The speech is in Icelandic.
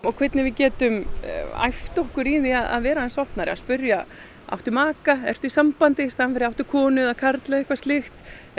hvernig við getum æft okkur í því að vera aðeins opnari spyrja áttu maka ertu í sambandi í staðinn fyrir áttu konu eða karl eða eitthvað slíkt